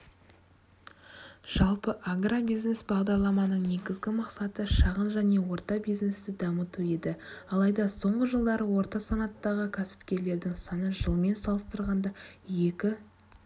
жалпы агробизнес бағдарламаның негізгі мақсаты шағын және орта бизнесті дамыту еді алайда соңғы жылдары орта санаттағы кәсіпкерлердің саны жылмен салыстырғанда екі